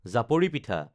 জাপৰি পিঠা